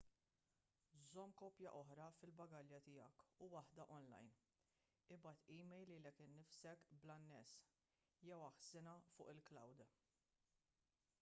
żomm kopja oħra fil-bagalja tiegħek u waħda online ibgħat email lilek innifsek bl-anness jew aħżinha fuq il-"cloud"